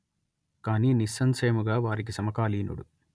కానీ నిస్సంశయముగా వారికి సమకాలీనుడు